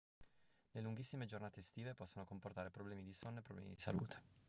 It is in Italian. le lunghissime giornate estive possono comportare problemi di sonno e problemi di salute